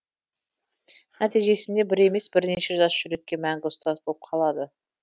нәтижесінде бір емес бірнеше жас жүрекке мәңгі ұстаз болып қалады